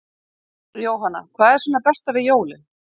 Jóhanna: Hvað er svona besta við jólin?